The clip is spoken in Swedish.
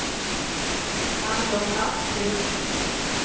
Anders Asplund